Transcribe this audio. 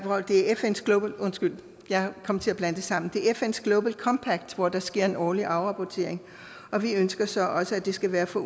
undskyld jeg kom til at blande det sammen det er fns global compact hvor der sker en årlig afrapportering og vi ønsker så også at det skal være for